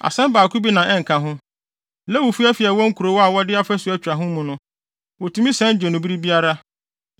“ ‘Asɛm baako bi na ɛnka ho. Lewifo afi a ɛwɔ nkurow a wɔde afasu atwa ho mu no, wotumi san gye no bere biara.